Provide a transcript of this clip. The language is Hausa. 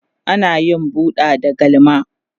ana yin buɗa da galma